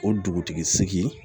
O dugutigi sigi